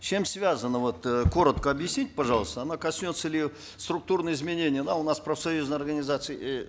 с чем связано вот э коротко объясните пожалуйста оно коснется ли структурного изменения да у нас профсоюзные организации эээ